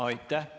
Aitäh!